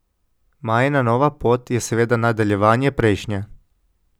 Majina nova pot je seveda nadaljevanje prejšnje.